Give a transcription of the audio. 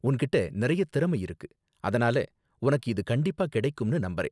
உன்கிட்ட நிறைய திறமை இருக்கு, அதனால உனக்கு இது கண்டிப்பா கிடைக்கும்னு நம்பறேன்.